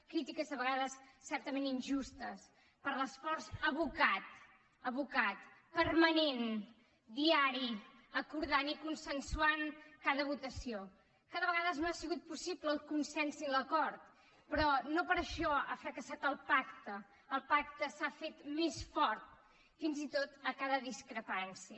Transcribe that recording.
crítiques a vegades certament injustes per l’esforç abocat abocat permanent diari acordant i consensuant cada votació que de vegades no han sigut possibles el consens i l’acord però no per això ha fracassat el pacte el pacte s’ha fet més fort fins i tot a cada discrepància